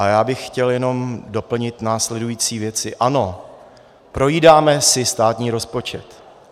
A já bych chtěl jenom doplnit následující věci: Ano, projídáme si státní rozpočet.